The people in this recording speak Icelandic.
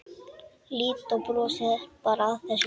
Lídó brosir bara að þessu.